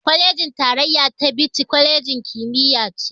Kwalejin tarayya ta Bichi, kwalejin kimiyya ce.